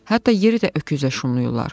Hətta yeri də öküzlə şumlayırlar.